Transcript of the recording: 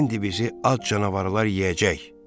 İndi bizi ac canavarlar yeyəcək.